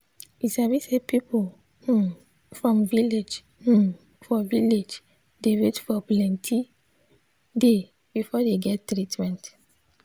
you sabi say people hmm for village hmm for village dey wait for plenti day before dey get treatment.